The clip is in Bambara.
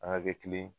An ka kɛ kelen